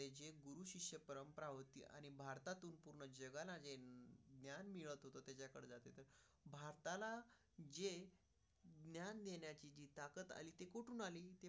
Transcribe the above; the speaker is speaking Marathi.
आताला जे. ज्ञान देण्याची ताकद झाली ती कुठून आली?